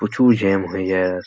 প্রচুর জ্যাম হয়ে যায় --